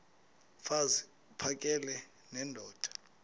mfaz uphakele nendoda